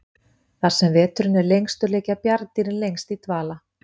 þar sem veturinn er lengstur liggja bjarndýrin lengst í dvala